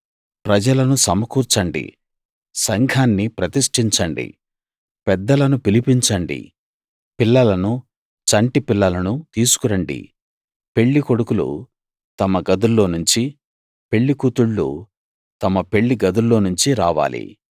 ప్రజలను సమకూర్చండి సంఘాన్ని ప్రతిష్ఠించండి పెద్దలను పిలిపించండి పిల్లలనూ చంటి పిల్లలనూ తీసుకురండి పెళ్లికొడుకులు తమ గదుల్లోనుంచి పెళ్లికూతుళ్ళు తమ పెళ్లి గదుల్లోనుంచి రావాలి